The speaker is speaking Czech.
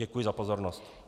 Děkuji za pozornost.